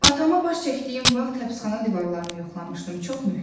Atama baş çəkdiyim vaxt həbsxana divarlarını yoxlamışdım, çox möhkəmdir.